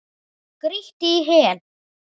Grýttir í hel.